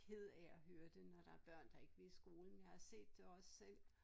Ked af at høre det når der er børn der ikke vil i skole men jeg har set det også selv